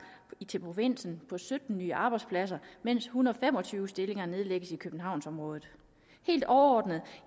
til provinsen på sytten nye arbejdspladser mens en hundrede og fem og tyve stillinger nedlægges i københavnsområdet helt overordnet